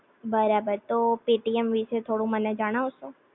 બરાબર તો પેટીએમ વિશે થોડું મને જણાવશો?